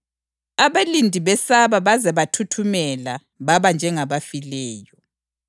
Abalindi besaba baze bathuthumela baba njengabafileyo.